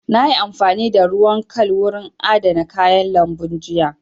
Na yi amfani da ruwan kal wurin adana kayan lambun jiya